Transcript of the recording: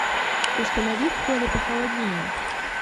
установи в холле похолоднее